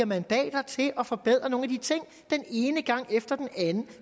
mandater til at forbedre nogle af de ting den ene gang efter den anden